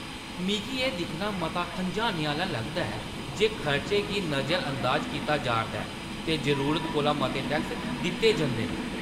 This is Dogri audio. मिगी एह् दिक्खना मता खंझाने आह्‌ला लगदा ऐ जे खर्चें गी नजरअंदाज कीता जा'रदा ऐ ते जरूरत कोला मते टैक्स दित्ते जंदे न।